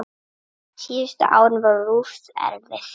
Síðustu árin voru Ruth erfið.